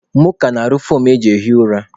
Mụọka na-arụ foomụ eji ehi ụra